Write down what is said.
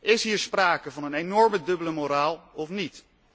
Is hier sprake van een enorme dubbele moraal of niet?